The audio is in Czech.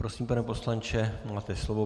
Prosím, pane poslanče, máte slovo.